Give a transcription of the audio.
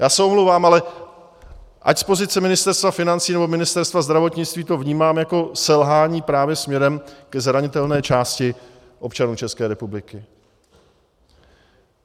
Já se omlouvám, ale ať z pozice Ministerstva financí nebo Ministerstva zdravotnictví to vnímám jako selhání právě směrem ke zranitelné části občanů České republiky.